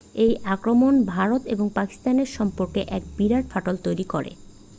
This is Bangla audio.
এই আক্রমণ ভারত ও পাকিস্তানের সম্পর্কে এক বিরাট ফাটল তৈরি করে